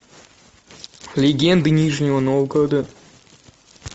легенды нижнего новгорода